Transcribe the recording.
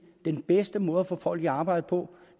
den bedste måde at få folk i arbejde på